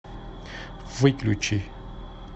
выключи